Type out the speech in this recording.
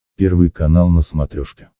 первый канал на смотрешке